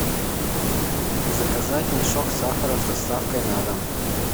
заказать мешок сахара с доставкой на дом